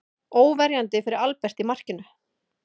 Óverjandi fyrir Albert í markinu.